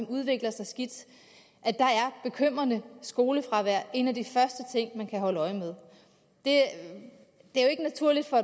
udvikler sig skidt er bekymrende skolefravær en af de første ting man kan holde øje med det er jo ikke naturligt for